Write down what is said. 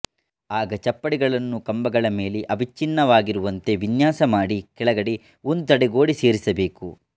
ಆಗ ಚಪ್ಪಡಿಗಳನ್ನು ಕಂಬಗಳ ಮೇಲೆ ಅವಿಚ್ಛಿನ್ನವಾಗಿರುವಂತೆ ವಿನ್ಯಾಸಮಾಡಿ ಕೆಳಗಡೆ ಒಂದು ತಡೆಗೋಡೆ ಸೇರಿಸಬೇಕು